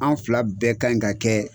Anw fila bɛɛ kan ka kɛɛ